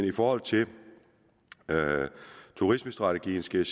i forhold til turismestrategien skal